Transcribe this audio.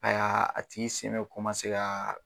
A ya a tigi sen bɛ komase kaaa.